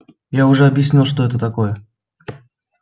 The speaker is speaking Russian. я же объяснял что это такое